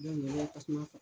Ni mɔgɔw ka kuma .